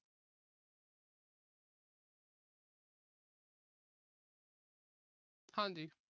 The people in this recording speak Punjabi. ਹਾਂਜੀ।